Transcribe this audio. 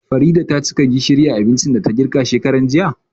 Farida tacika gishiri a abincin da ta girka shekaran jiya